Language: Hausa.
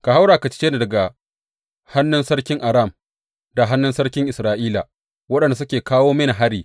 Ka haura ka cece ni daga hannun sarkin Aram da hannun sarkin Isra’ila waɗanda suke kawo mini hari.